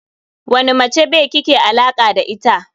Wane mace be kike alaka da ita.